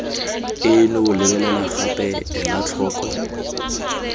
eno lebelela gape ela tlhoko